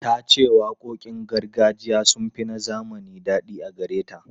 Ta ce waƙoƙin gargajiya sun fi na zamani daɗi a gare ta.